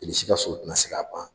Bilisi ka sogo tɛna se k'a ban